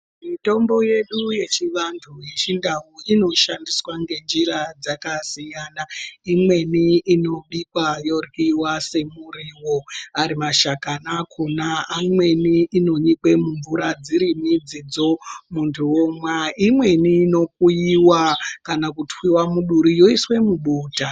Mitombo yedu yechi vantu ye chindau ino shandiswa nge njira dzaka siyana imweni ino bikwa yo ryiwa se muriwo ari mashakani akona amweni ino onekwe mu mvura dziri midzidzo muntu omwa imweni ino kuyiwa kana kutwiwa mu duri yoiswe mubota.